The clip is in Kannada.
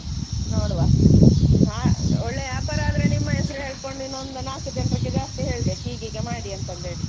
ನೋಡುವ, ಹಾ ಒಳ್ಳೆ ವ್ಯಾಪಾರ ಆದ್ರೆ ನಿಮ್ಮ ಹೆಸರು ಹೇಳ್ಕೊಂಡು ಇನ್ನೊಂದು ನಾಲ್ಕು ಜನ್ರಿಗೆ ಜಾಸ್ತಿ ಹೇಳ್ಬೇಕು ಹೀಗೆ ಹೀಗೆ ಮಾಡಿ ಅಂತ ಹೇಳಿ.